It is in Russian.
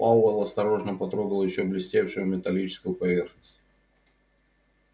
пауэлл осторожно потрогал ещё блестевшую металлическую поверхность